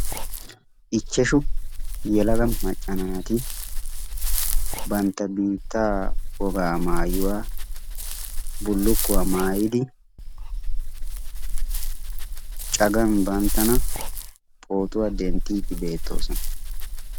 Ichashsu yelaga macca naati bantta biittaa woga maayuwa bullukkuwa maayyidi cagan banttana poottuwa denttide beettoosona.